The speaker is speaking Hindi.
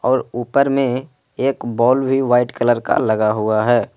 और ऊपर में एक बाल भी वाइट कलर का लगा हुआ है।